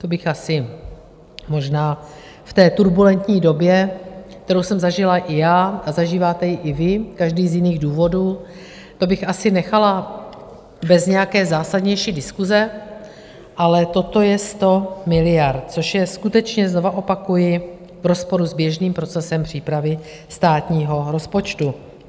To bych asi možná v té turbulentní době, kterou jsem zažila i já a zažíváte ji i vy, každý z jiných důvodů, to bych asi nechala bez nějaké zásadnější diskuse, ale toto je 100 miliard, což je skutečně, znovu opakuji, v rozporu s běžným procesem přípravy státního rozpočtu.